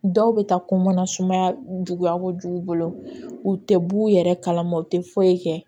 Dɔw bɛ taa ko mana sumaya juguya kojugu u tɛ b'u yɛrɛ kalama u tɛ foyi kɛ